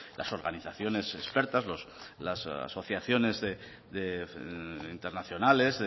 las organizaciones expertas las asociaciones internacionales